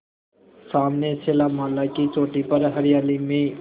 सामने शैलमाला की चोटी पर हरियाली में